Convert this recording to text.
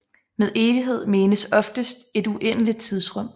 Med evighed menes oftest et uendeligt tidsrum